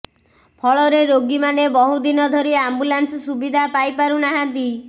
ଫଳରେ ରୋଗୀମାନେ ବହୁ ଦିନ ଧରି ଆମ୍ବୁଲାନ୍ସ ସୁବିଧା ପାଇପାରୁନାହାନ୍ତି